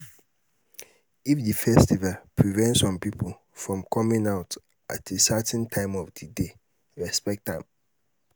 if di festival prevent some pipo from coming out at certain time of di day respect am